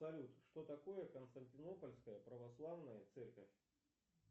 салют что такое константинопольская православная церковь